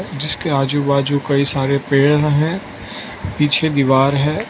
जिसके आजू बाजू कई सारे पेड़ हैं पीछे दीवार है।